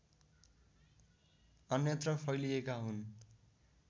अन्यत्र फैलिएका हुन्